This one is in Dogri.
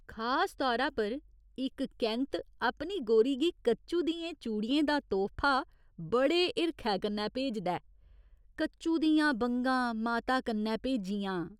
खास तौरा पर, इक कैंत्त अपनी गोरी गी कच्चु दियें चूड़ियें दा तोह्फा बड़े हिरखै कन्नै भेजदा ऐ कच्चु दियां बंगां माता कन्नै भेजियां।